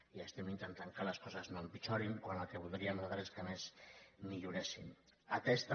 i estem intentant que les coses no empitjorin quan el que voldríem nosaltres és que a més milloressin atès també